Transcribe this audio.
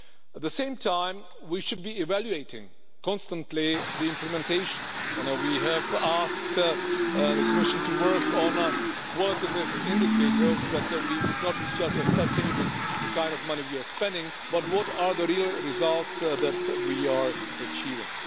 At the same time we should be evaluating constantly its implementation and we have asked the Commission to work on qualitative indicators so that we would not just be assessing the kind of money we are spending, but what are the real results that we are achieving.